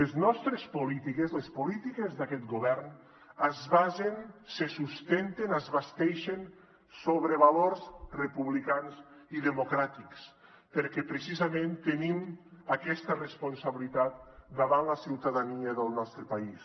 les nostres polítiques les polítiques d’aquest govern es basen se sustenten es basteixen sobre valors republicans i democràtics perquè precisament tenim aquesta responsabilitat davant la ciutadania del nostre país